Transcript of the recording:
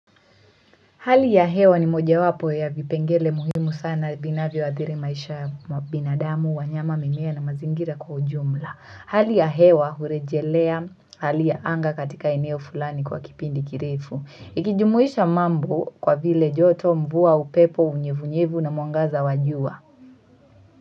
Hali ya hewa ni mojawapo ya vipengele muhimu sana vinavyoadhiri maisha ya binadamu, wanyama, mimea na mazingira kwa ujumla. Hali ya hewa hurejelea hali ya anga katika eneo fulani kwa kipindi kirefu. Ikijumuisha mambo kwa vile joto, mvua, upepo, unyevunyevu na mwangaza wa jua.